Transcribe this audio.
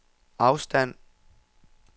afstand